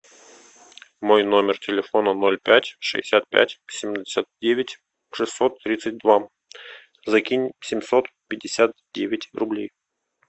мой номер телефона ноль пять шестьдесят пять семьдесят девять шестьсот тридцать два закинь семьсот пятьдесят девять рублей